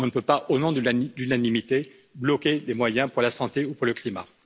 On ne peut pas, au nom de l'unanimité, bloquer des moyens pour la santé ou pour le climat.